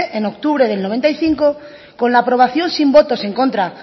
en octubre del noventa y cinco con la aprobación sin votos en contra